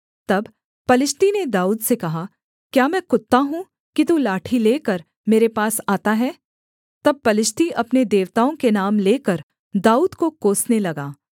तब पलिश्ती ने दाऊद से कहा क्या मैं कुत्ता हूँ कि तू लाठी लेकर मेरे पास आता है तब पलिश्ती अपने देवताओं के नाम लेकर दाऊद को कोसने लगा